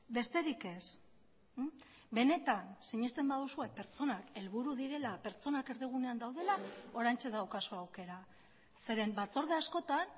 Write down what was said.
besterik ez benetan sinesten baduzue pertsonak helburu direla pertsonak erdigunean daudela oraintxe daukazue aukera zeren batzorde askotan